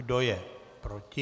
Kdo je proti?